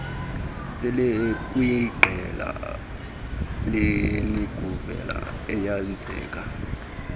selekwiqela lerniguvela eyenza